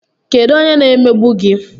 Kedụ onye na-emegbu gi?